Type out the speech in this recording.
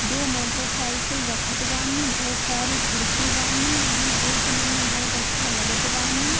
दो मोटरसाइकिल रखत बानी बहुत सारी खिड़की बानी। ई देखनें में बहुत अच्छा लगत बानी।